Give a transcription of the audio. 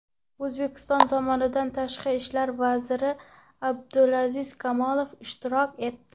O‘zbekiston tomonidan tashqi ishlar vaziri Abdulaziz Komilov ishtirok etdi.